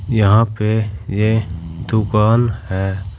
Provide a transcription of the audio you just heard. यहां पे यह दुकान है।